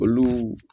Olu